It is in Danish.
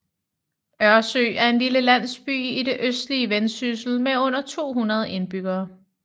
Ørsø er en lille landsby i det østlige Vendsyssel med under 200 indbyggere